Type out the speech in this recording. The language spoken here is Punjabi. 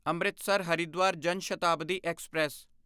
ਅੰਮ੍ਰਿਤਸਰ ਹਰਿਦਵਾਰ ਜਾਨ ਸ਼ਤਾਬਦੀ ਐਕਸਪ੍ਰੈਸ